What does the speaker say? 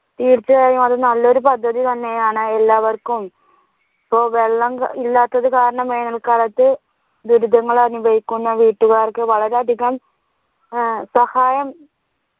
തീർച്ചയായും അത് നല്ലൊരു പദ്ധതി തന്നെയാണ് എല്ലാവര്‍ക്കും ഇപ്പൊ വെള്ളം ഇല്ലാത്തതു കാരണം വേനൽ കാലത്ത് ദുരിതങ്ങൾ അനുഭവിക്കുന്ന വീട്ടുകാർക്ക് വളരെ അധികം സഹായം